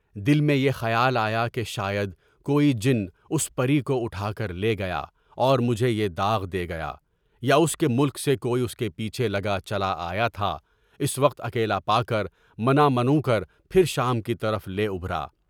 دل میں یہ خیال آیا کہ شاید کوئی جن اس پری کو اٹھا کر لے گیا اور مجھے یے داغ دے گیا، یا اس کے ملک سے کوئی اس کے پیچھے لگا چلا آیا تھا، اس وقت اکیلا پا کر منہ منو کر پھر شام کی طرف لے اُبھرا۔